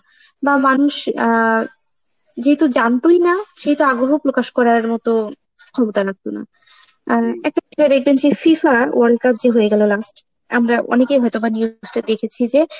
বা মানুষ অ্যাঁ যেহেতু জানতোই না সেতু আগ্রহ প্রকাশ করার মতো ক্ষমতা রাখতো না. and দেখবেন যে FIFA world cup যে হয়ে গেল last, আমরা অনেকে হয়তোবা news টা দেখেছি যে